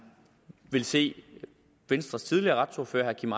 vil se at venstres tidligere retsordfører herre kim